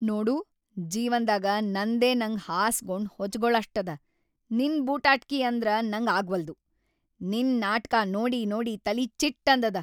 ನೋಡು ಜೀವನ್ದಾಗ ನಂದೇ ನಂಗ್ ಹಾಸ್ಗೊಂಡ್‌ ಹೊಚಗೊಳಷ್ಟದ.. ನಿನ್‌ ಬೂಟಾಟ್ಕಿ ಅಂದ್ರ ನಂಗ್‌ ಆಗ್ವಲ್ದು. ನಿನ್‌ ನಾಟ್ಕಾ ನೋಡಿ ನೋಡಿ ತಲಿ ಚಿಟ್‌ ಅಂದದ.